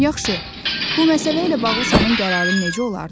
Yaxşı, bu məsələ ilə bağlı sənin qərarın necə olardı?